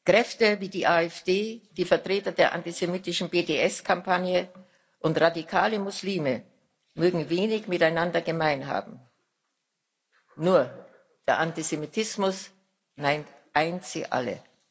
Kräfte wie die AfD, die Vertreter der antisemitischen BDS Kampagne und radikale Muslime mögen wenig miteinander gemein haben nur der Antisemitismus eint sie alle.